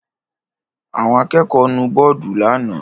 Àwọn akẹ́kọ̀ọ́ nu bọ́ọ́dù lánàá?